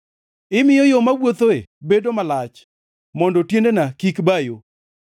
Imiyo yo mawuothoe bedo malach, mondo tiendena kik ba yo.